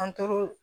An tora